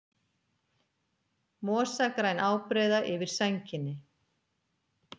Mosagræn ábreiða yfir sænginni.